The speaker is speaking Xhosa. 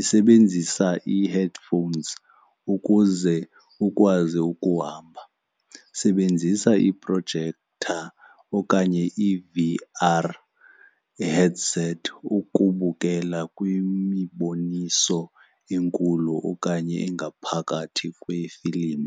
isebenzisa i-headphones ukuze ukwazi ukuhamba. Sebenzisa iiprojektha okanye i-V_R headsets ukubukela kwimiboniso enkulu okanye engaphakathi kwe-film.